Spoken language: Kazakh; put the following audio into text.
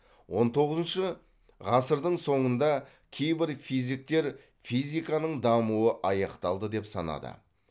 он тоғызыншы ғасырдың соңында кейбір физиктер физиканың дамуы аяқталды деп санады